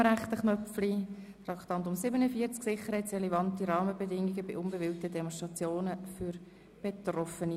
Ich halte in allen drei Punkten an der Motion fest.